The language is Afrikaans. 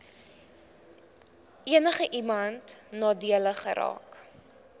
enigiemand nadelig geraak